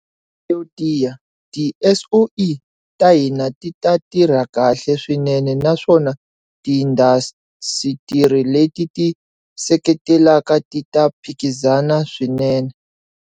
Yo tiya, tiSOE ta hina ti ta tirha kahle swinene naswona tiindasitiri leti ti ti seketelaka ti ta phikizana swinene.